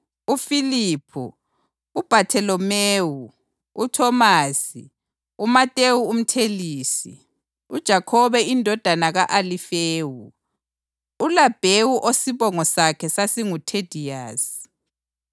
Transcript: uFiliphu, uBhatholomewu; uThomasi, uMatewu umthelisi; uJakhobe indodana ka-Alifewu, uLabhewu osibongo sakhe sasinguThediyasi;